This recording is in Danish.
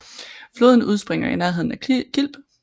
Floden udspringer i nærheden af Kilb